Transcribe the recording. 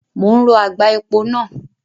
Mo ń rọ àgbá epo náà.